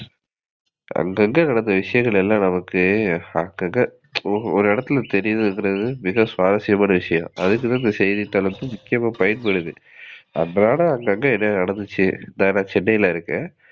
அங்க, அங்க நடந்த விஷயங்கள் எல்லாம் நமக்கு அங்க, அங்க ஒரு இடத்துல தெரியனும்ன்றது மிக சுவாரசியமான விஷயம். அதுக்கு தான் இந்த செய்தித்தாள் வந்து முக்கியமா பயன்படுது. அன்றாட அங்க, அங்க என்ன நடந்துச்சு, நான் சென்னையில இருக்கேன்